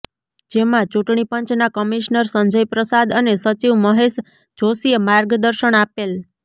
જેમાં ચૂૂંટણી પંચના કમિશનર સંજય પ્રસાદ અને સચિવ મહેશ જોષીએ માર્ગદર્શન આપેલ